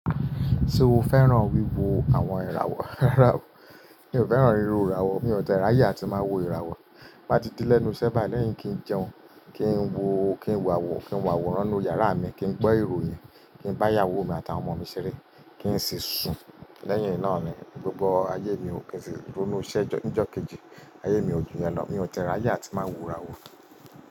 Ṣé o fẹ́ràn wíwo àwọn ìràwọ̀? Mi ò fẹ́ràn ríro ìràwọ̀, mi ò tẹrá yà tí màá wo ìràwọ̀. Bá ti di lẹ́nu ṣẹ́ba lẹ́yìn kí ń jẹun, kí ń wọ, kí ń wàwọ̀, kí ń wàwọ̀ ránú yàrá mi, kí ń gbọ́ ìròyìn, kí ń bá ìyàwó mi àtà ọmọ mi ṣeré, kí ń sì sùn. Lẹ́yìn iná ni gbogbo ayé mi kò sì dúró ní iṣẹ́. Ǹjọ kejì, ayé mi ò ju yẹn lọ, mi ò tẹ ẹ ráyè atí màá wo ìràwọ̀.